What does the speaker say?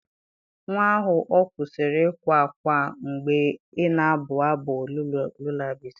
Nwa ahụ ọ kwụsịrị ịkwa ákwá mgbe ị na-abụ abụ lullabies?